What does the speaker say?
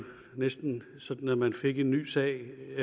næsten sådan at man fik en ny sag